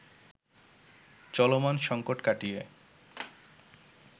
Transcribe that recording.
চলমান সংকট কাটিয়ে